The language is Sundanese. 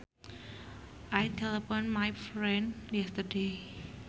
I telephoned my friend yesterday